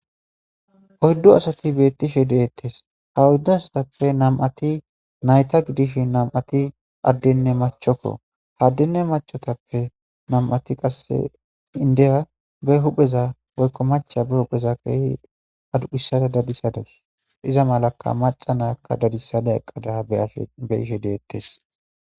hoyddu asati beettishe deettes ha woyddu asatappe nam7ati nayta gidish nam7ati addenne machokko haddenne machotappe nam7ati qasse indeya be hupheza woykko macha be hupheza kehi aduphissada dadisadas iza malaka maca nayakka dadisada eqqada eafhbe ishe deettes